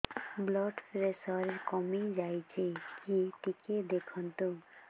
blood pressure କମି ଯାଉଛି କି ଟିକେ ଦେଖନ୍ତୁ